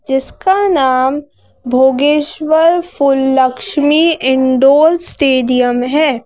जिसका नाम भोगेश्वर फुल लक्ष्मी इनडोल स्टेडियम है।